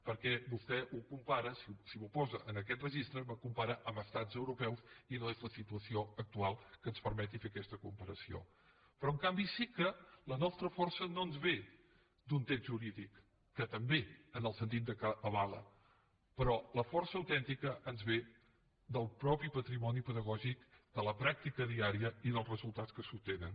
perquè vostè ho compara si m’ho posa en aquest registre m’ho compara amb estats europeus i no és la situació actual que ens permeti fer aquesta comparació però en canvi sí que la nostra força no ens ve d’un text jurídic que també en el sentit que avala però la força autèntica ens ve del mateix patrimoni pedagògic de la pràctica diària i dels resultats que s’obtenen